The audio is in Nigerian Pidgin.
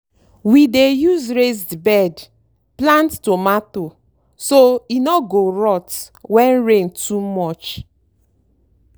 we dey use raised bed plant tomato so e no go rot when rain too much.